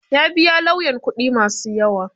Ya biya lauyan kuɗi ma su yawa.